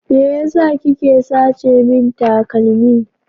Me yasa kike sace min takalmi?